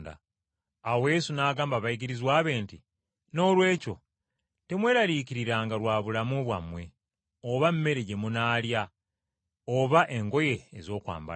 Awo Yesu n’agamba abayigirizwa be nti, “Noolwekyo mbagamba nti, Temweraliikiriranga bya bulamu bwammwe oba mmere gye munaalya oba engoye ez’okwambala.